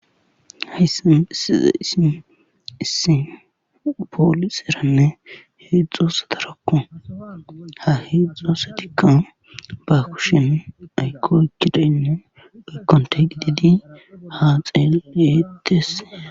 hayssan isize issin issinbooliseranne heedzxosatarakko ha heedzxosetikka ba kushen aykokidaynne aykonte gididi ha xeeetese